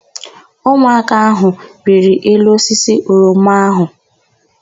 Ụmụaka áhụ̀ rịrị elu osisi oroma áhụ̀.